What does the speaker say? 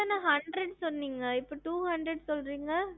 ஹம்